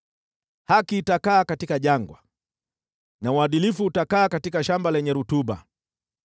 Haki itakaa katika jangwa, na uadilifu utakaa katika shamba lenye rutuba.